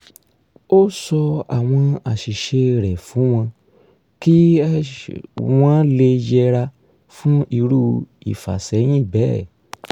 ó sọ àwọn àṣìṣe rẹ̀ fún wọn kí wọ̣́n lè yẹra fún irú ìfàsẹyìn bẹ́ẹ̀